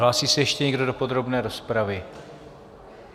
Hlásí se ještě někdo do podrobné rozpravy?